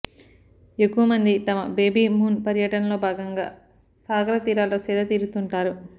ఎక్కువ మంది తమ బేబీమూన్ పర్యటనలో భాగంగా సాగర తీరాల్లో సేద తీరుతుంటారు